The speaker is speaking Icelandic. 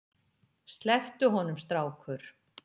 Slepptu honum strákur!